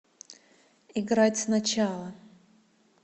играть сначала